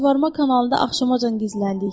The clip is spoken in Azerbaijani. Suvarma kanalında axşamacan gizləndik.